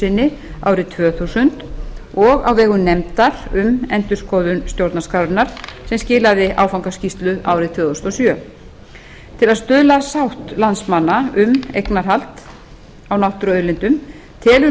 sinni árið tvö þúsund og á vegum nefndar um endurskoðun stjórnarskrárinnar sem skilaði áfangaskýrslu árið tvö þúsund og sjö til að stuðla að sátt landsmanna um eignarhald á náttúruauðlindum telur